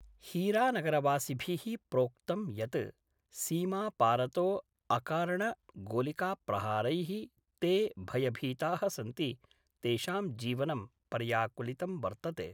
हीरानगरवासिभि: प्रोक्तम् यत् सीमापारतो अकारणगोलिकाप्रहारै: ते भयभीताः सन्ति तेषां जीवनं पर्याकुलितं वर्तते।